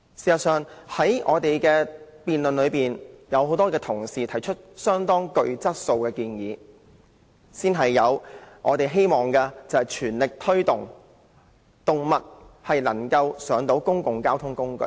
事實上，是次辯論中，很多同事都提出極具質素的建議，包括我們全力推動有關動物乘搭公共交通工具的安排。